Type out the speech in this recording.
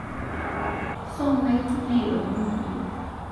Somai tung'ai lomon kumo